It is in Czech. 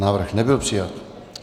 Návrh nebyl přijat.